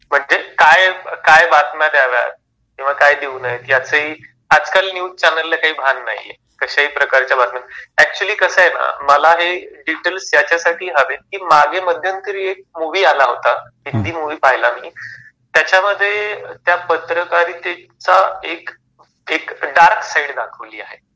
म्हणजे काय काय बातम्या द्याव्यात किंवा काय देऊ नयेत याचही आजकाल न्यूज चॅनलला काही भाग नाही. कश्याही प्रकारच्या बातम्या, ऍक्चुअली कस आहे मला हे डिटेल्स यासाठी हवेत कि मागे मध्यंतरी एक मूव्ही आला होता. हिंदी मूव्ही पाहिला मी. त्याच्यामध्ये त्या पत्रकारितेचा एक एक डार्क साइड दाखवली आहे.